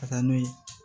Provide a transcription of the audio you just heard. Ka taa n'u ye